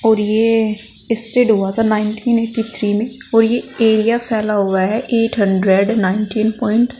और ये स्टेड हुआ था नाइनटीन एटी थ्री में और ये एरिया फैला हुआ है एट हंड्रेड नाइनटीन प्वाइंट ।